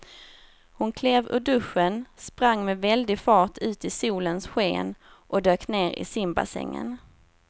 Hon klev ur duschen, sprang med väldig fart ut i solens sken och dök ner i simbassängen.